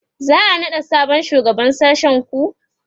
za'a naɗa sabon shugaban sashen ku?